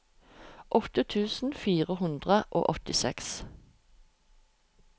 åtte tusen fire hundre og åttiseks